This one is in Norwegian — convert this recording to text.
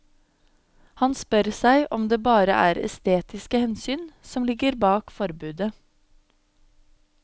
Han spør seg om det bare er estetiske hensyn som ligger bak forbudet.